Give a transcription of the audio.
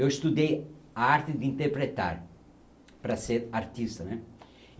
Eu estudei a arte de interpretar, para ser artista, né?